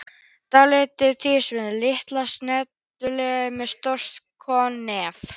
Dálítið svipaður Tyrkjum, lítill og snaggaralegur, með stórt kónganef.